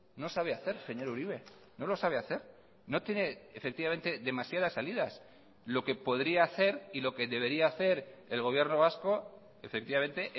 no sabe hacer señor uribe no lo sabe hacer no tiene efectivamente demasiadas salidas lo que podría hacer y lo que debería hacer el gobierno vasco efectivamente